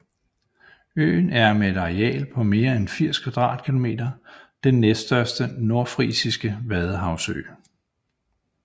Øen er med et areal på mere end 80 km² den næststørste nordfrisiske vadehavsø